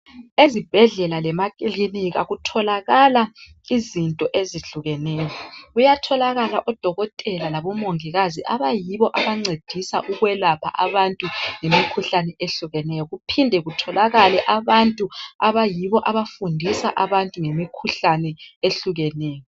Ezibhedlela lemakilinika kutholakala izinto ezihlukeneyo kuyatholakala odokotela labomongikazi abayibo abancedisa ukwelapha abantu imikhuhlane ehlukeneyo kuphinde kutholakale abantu abayibo abafundisa abantu ngemikhuhlane ehlukeneyo.